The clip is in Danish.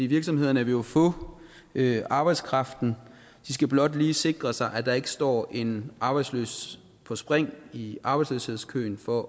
virksomhederne vil jo få arbejdskraften de skal blot lige sikre sig at der ikke står en arbejdsløs på spring i arbejdsløshedskøen for